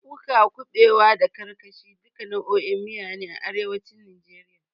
Kuka, kuɓewa, da karkashin, duka nau'o'in miya ne a arewacin najeriya.